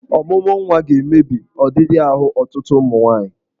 Ọmụmụnwa ga-emebi ọdịdị ahụ ọtụtụ ụmụ nwaanyị.